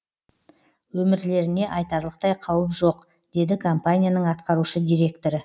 өмірлеріне айтарлықтай қауіп жоқ деді компанияның атқарушы директоры